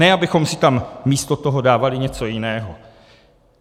Ne abychom si tam místo toho dávali něco jiného.